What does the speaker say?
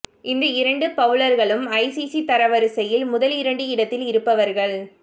இந்த இரண்டு பவுலர்களும் ஐசிசி தரவரிசையில் முதலிரண்டு இடத்தில் இருப்பவர்கள்